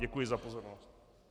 Děkuji za pozornost.